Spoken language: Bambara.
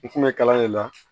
U kun bɛ kalan de la